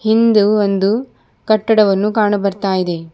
ಹಿಂದು ಒಂದು ಕಟ್ಟಡವನ್ನು ಕಾಣ ಬರ್ತಾ ಇದೆ.